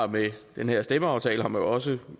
med den her stemmeaftale har man også